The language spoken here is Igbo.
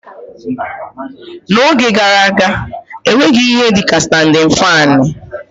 N'oge gara aga, e nweghị ihe dị ka standịn faanị